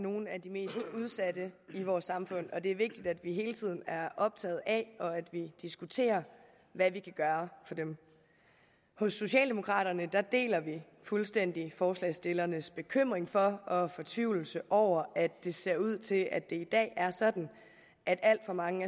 nogle af de mest udsatte i vores samfund og det er vigtigt at vi hele tiden er optaget af og diskuterer hvad vi kan gøre for dem hos socialdemokraterne deler vi fuldstændig forslagsstillernes bekymring for og fortvivlelse over at det ser ud til at det i dag er sådan at alt for mange